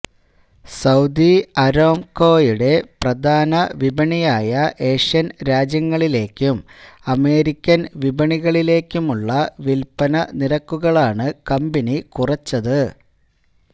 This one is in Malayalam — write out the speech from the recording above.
സൌദി അരാംകോയുടെ പ്രധാന വിപണിയായ ഏഷ്യന് രാജ്യങ്ങളിലേക്കും അമേരിക്കന് വിപണികളിലേക്കുമുളള വില്പ്പന നിരക്കുകളാണ് കമ്പനി കുറച്ചത്